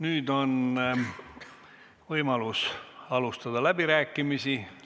Nüüd on võimalus alustada läbirääkimisi.